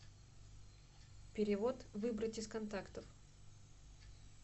перевод выбрать из контактов